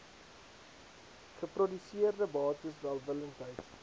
geproduseerde bates welwillendheid